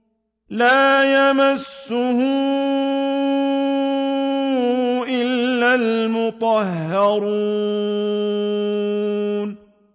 لَّا يَمَسُّهُ إِلَّا الْمُطَهَّرُونَ